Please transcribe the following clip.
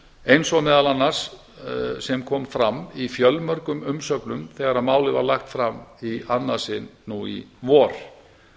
eins og meðal annars sem kom fram í fjölmörgum umsögnum þegar málið var lagt fram í annað sinn nú í vor